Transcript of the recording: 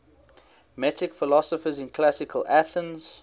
metic philosophers in classical athens